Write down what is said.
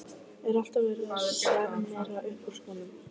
Er alltaf verið að sjarmera upp úr skónum?